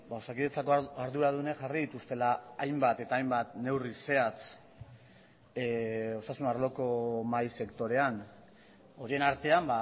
osakidetzako arduradunek jarri dituztela hainbat eta hainbat neurri zehatz osasun arloko mahai sektorean horien artean